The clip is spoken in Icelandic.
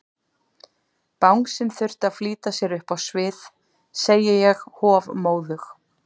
Bangsinn þurfti að flýta sér upp á svið, segi ég hofmóðug.